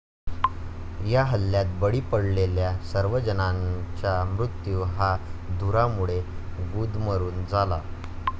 या हल्ल्यात बळी पडलेल्या सर्व जणांचा मृत्यू हा धुरामुळे गुदमरून झाला.